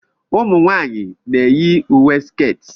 ụmụ nwanyị na-eyi uwe sketi